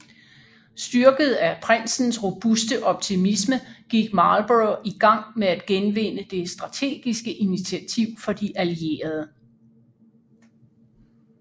Styrket af prinsens robuste optimisme gik Marlborough i gang med at genvinde det strategiske initiativ for de allierede